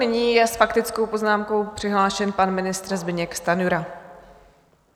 Nyní je s faktickou poznámkou přihlášen pan ministr Zbyněk Stanjura.